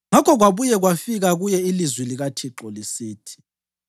Ngakho kwabuye kwafika kuye ilizwi likaThixo lisithi: